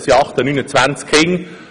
Es sind im Moment etwa 27 Kinder.